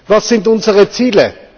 Was sind unsere Ziele?